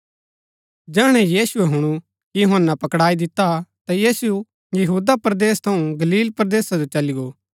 जैहणै यीशुऐ हुणु कि यूहन्‍ना पकडाई दिता ता यीशु यहूदा परदेस थऊँ गलील परदेसा जो चली गो